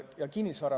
Nüüd kinnisvarast.